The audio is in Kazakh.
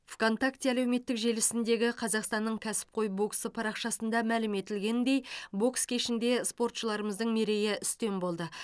вконтакте әлеуметтік желісіндегі қазақстанның кәсіпқой боксы парақшасында мәлім етілгендей бокс кешінде спортшыларымыздың мерейі үстем болды